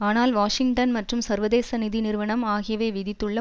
ஆனால் வாஷிங்டன் மற்றும் சர்வதேச நிதி நிறுவனம் ஆகியவை விதித்துள்ள